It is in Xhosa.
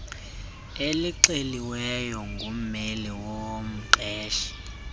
elixeliweyo ngummeli womqeshi